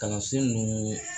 Kalansen ninnu